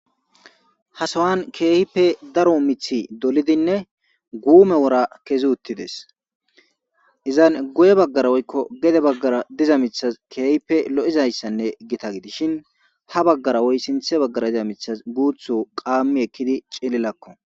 hasowan keehipe daro mithi dolidinne guume wora kezi uttides izan guye baggara woykko gede baggara diza mithaz keehpe lo7izayssanne gita gidishin ha baggara woy sinthe baggara diza mithas guuthu qaammi ekkidi cillilakko